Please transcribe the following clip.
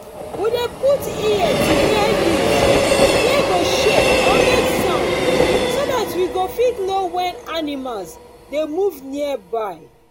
we dey put ear to hear leaves wey go shake or make sound so that we fit know when animals dey move nearby